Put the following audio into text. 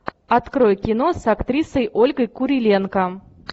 открой кино с актрисой ольгой куриленко